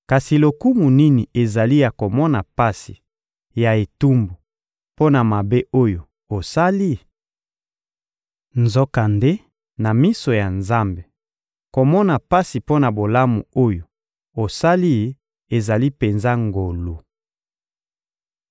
Kasi lokumu nini ezali ya komona pasi ya etumbu mpo na mabe oyo osali? Nzokande, na miso ya Nzambe, komona pasi mpo na bolamu oyo osali ezali penza ngolu.